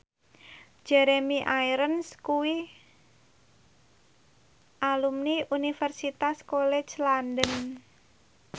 Jeremy Irons kuwi alumni Universitas College London